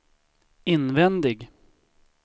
invändig